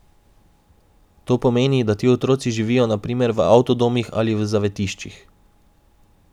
To pomeni, da ti otroci živijo na primer v avtodomih ali v zavetiščih.